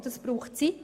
Das braucht Zeit.